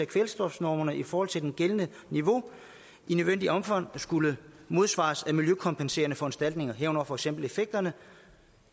kvælstofnormerne i forhold til det gældende niveau i nødvendigt omfang skulle modsvares af miljøkompenserende foranstaltninger herunder for eksempel effekterne